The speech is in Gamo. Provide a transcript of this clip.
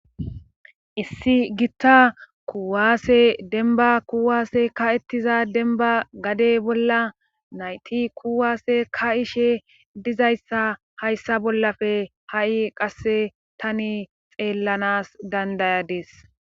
Issi gitta kuwaasse denba kuwaase ka ettiza denba gade bolla nayti kuwaase ka ishe dizayssa hayssa bollafe ha7i qasse tani xeellanas dandayades.